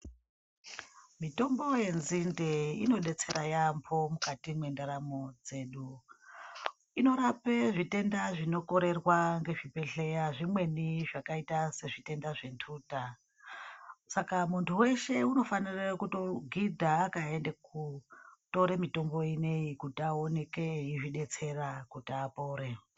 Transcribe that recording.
Mitombo yenzinde inodetsera yaambo mukati mwendaramo dzedu inorape zvitenda zvinokorerwa ngezvibhedhlera zvimweni zvakaita sezvitenda zvenduta saka muntu weshe anofanira kutogidha akaenda kotora mitombo ineyi kuti aoneke eizvidetsera kuti apore.